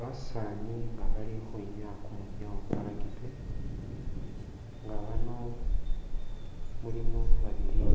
Basaani nga bali ukhwinyaya kumwinyawo kwa Rugby nga bano mulimo babili